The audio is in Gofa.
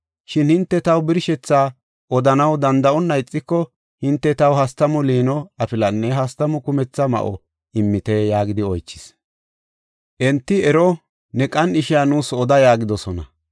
Shin hinte taw birshethaa odanaw danda7onna ixiko hinte taw hastamu liino afilanne hastamu kumetha ma7o immeeta” yaagidi oychis. Enti, “Ero, ne qan7ishiya nuus oda” yaagidosona.